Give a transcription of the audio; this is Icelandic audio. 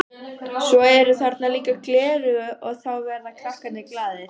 Svo eru þarna líka gleraugu og þá verða krakkarnir glaðir.